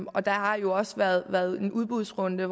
og der har jo også været været en udbudsrunde